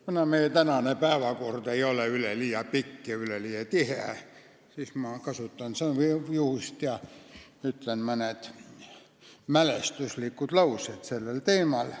Kuna meie tänane päevakord ei ole üleliia pikk ega üleliia tihe, siis ma kasutan juhust ja ütlen mõned mälestuslikud laused sellel teemal.